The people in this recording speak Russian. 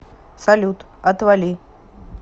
салют отвали